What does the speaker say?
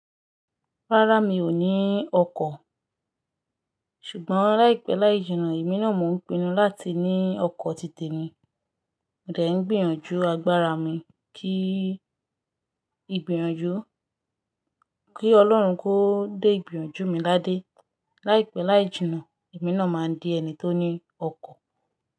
Rárá, mi ò ní ọkọ̀, ṣùgbọ́n láìpẹ́ láì jìnnà, èmi náà mo n pinu láti ní ọkọ̀ títè ni. Mó dẹ̀ n gbìyànjú agbára mi kí ìgbìyànjú, kí Ọlọ́run kó dé ìgbìyànjú mi ládé. Láìpẹ́ láì jìnnà, èmi náà máa di ẹni tó ní ọkọ̀